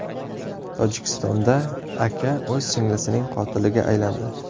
Tojikistonda aka o‘z singlisining qotiliga aylandi .